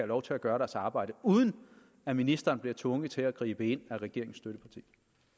lov til at gøre deres arbejde uden at ministeren bliver tvunget til at gribe ind af regeringens støtteparti